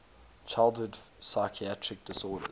childhood psychiatric disorders